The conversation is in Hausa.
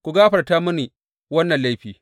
Ku gafarta mini wannan laifi!